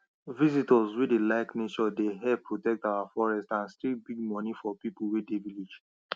visitors wey dey like nature dey help protect our forest and still bring money for people wey dey village